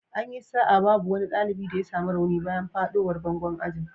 An yi sa'a babu wani dalibi da ya samu rauni bayan fadowar bangon ajin.